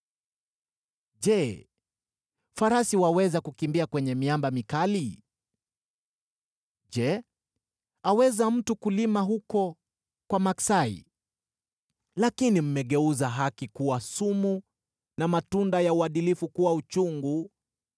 Je, farasi waweza kukimbia kwenye miamba mikali? Je, aweza mtu kulima huko kwa maksai? Lakini mmegeuza haki kuwa sumu na matunda ya uadilifu kuwa uchungu: